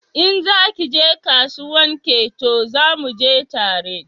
In za ki je kasuwan Ketu zamu je tare